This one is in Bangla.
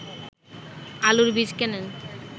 আলুর বীজ কেনেন